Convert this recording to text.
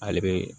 Ale be